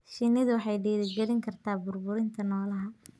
Shinnidu waxay dhiirigelin kartaa burburinta noolaha.